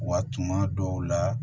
Wa tuma dɔw la